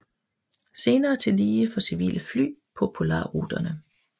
Senere tillige for civile fly på polarruterne